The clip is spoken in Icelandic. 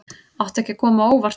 Átti ekki að koma á óvart